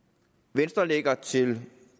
venstre lægger til